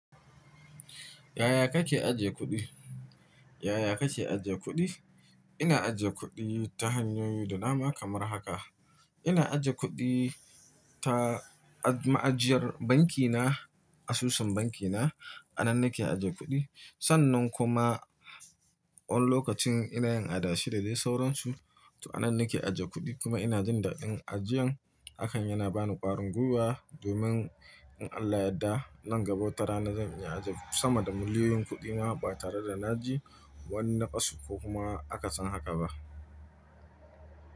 Yaya kake ajiye kuɗi? Yaya kake ajiye kuɗi? Ina ajiye kuɗi ta hanyoyi da dama kamar haka. Ina ajiye kuɗi ta ma'ajiyar banki na, asusun banki na, a nan nake ajiye kuɗi. Sannan kuma wani lokacin ina yin adashi da dai sauransu, to a nan nake ajiye kuɗi kuma ina jin daɗin ajiyan. Hakan yana bani ƙwarin gwiwa domin in Allah ya yarda, nan gaba wata rana zan iya ajiye sama da miliyoyin kuɗi ma ba tare da na ji wani naɓasu ko kuma akasan haka ba.